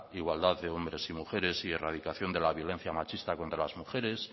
igualdad de hombres y mujeres y erradicación de la violencia machista contra las mujeres